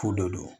Ko dɔ do